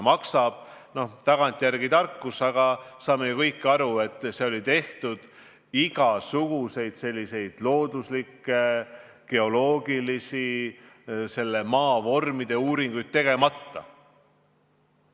Noh, see on tagantjärele tarkus, aga me saame ju kõik aru, et see hinnang oli antud igasuguseid looduslikke, geoloogilisi uuringuid tegemata.